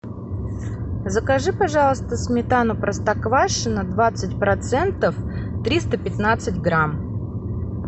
закажи пожалуйста сметану простоквашино двадцать процентов триста пятнадцать грамм